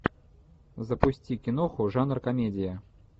запусти киноху жанр комедия